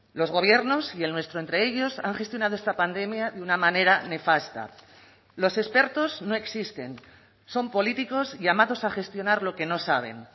los gobiernos y el nuestro entre ellos han gestionado esta pandemia de una manera nefasta los expertos no existen son políticos llamados a gestionar lo que no saben